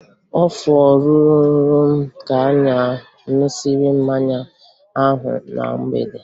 Afọ rụrụ m ka anyị ṅụsịrị mmanya ahụ na mgbede